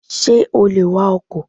Ṣé o lè wakọ̀?